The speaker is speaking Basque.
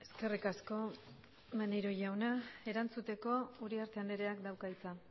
eskerrik asko maneiro jauna erantzuteko uriarte andreak dauka hitza